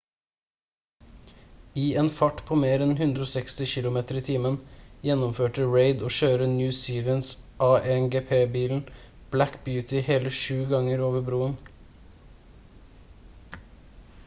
i en fart på mer enn 160 kilometer i timen gjennomførte reid å kjøre new zealands a1gp-bilen black beauty hele 7 ganger over broen